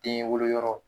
Den wolo yɔrɔ